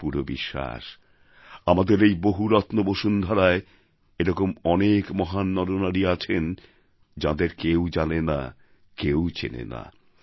আমার পুরো বিশ্বাস আমাদের এই বহুরত্ন বসুন্ধরায় এরকম অনেক মহান নরনারী আছেন যাঁদের কেউ জানে না চেনে না